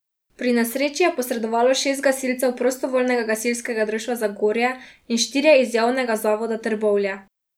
Pri nesreči je posredovalo šest gasilcev prostovoljnega gasilskega društva Zagorje in štirje iz Javnega zavoda Trbovlje.